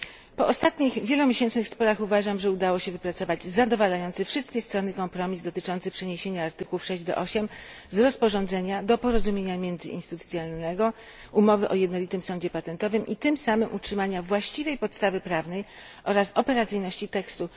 Po ostatnich wielomiesięcznych sporach uważam, że udało się wypracować zadowalający wszystkie strony kompromis dotyczący przeniesienia artykułów 6 do 8 z rozporządzenia do porozumienia międzyinstytucjonalnego i tym samym utrzymania właściwej podstawy prawnej oraz operacyjności tekstu.